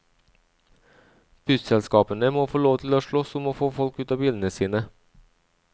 Busselskapene må få lov til å slåss om å få folk ut av bilene sine.